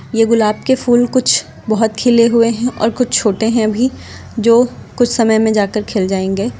ये गुलाब के फूल कुछ बहुत खिले हुए हैं और कुछ छोटे हैं भी जो कुछ समय में जाकर खिल जाएंगे।